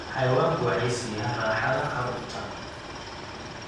Xayawaanku waxay siiyaan raaxada carruurta.